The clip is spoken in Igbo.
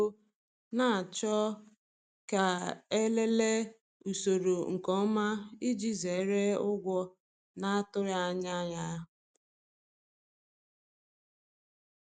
Ịrịọ obere ego na-achọ ka e lelee usoro nke ọma iji zere ụgwọ na-atụghị anya ya.